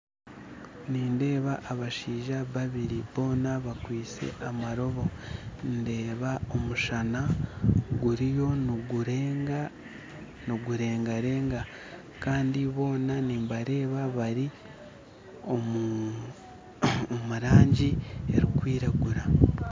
Nindeeba abashaija babiri boona bakwitse amaroobo ndeeba omushaana guriyo niguregarega kandi boona nibareeba bari omurangi erikwiragura